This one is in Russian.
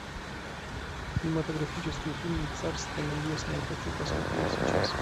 кинематографический фильм царство небесное хочу посмотреть сейчас